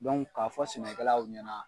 Dɔnku k'a fɔ sɛnɛkɛlaw ɲɛna